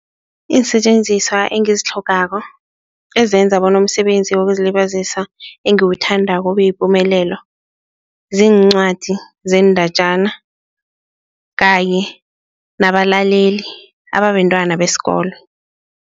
Iinsetjenziswa engazitlhogako ezenza bona umsebenzi wokuzilibazisa engiwuthandako ubeyipumelelo, ziincwadi zeendatjana kanye nabalaleli ababentwana besikolo.